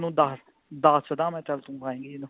ਓਹਨੂੰ ਦੱਸਦੱਸਦਾ ਚੱਲ ਤੂੰ ਪਾਏਗੀ ਜਦੋਂ